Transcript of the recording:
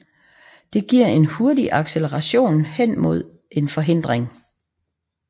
Det giver en hurtig acceleration hen mod en forhindring